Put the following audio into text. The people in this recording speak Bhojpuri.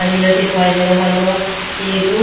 हरियर देखाई दे रहला बा। एगो --